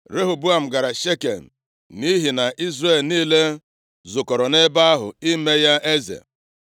Rehoboam gara Shekem nʼihi na Izrel niile zukọrọ ebe ahụ ime ya eze.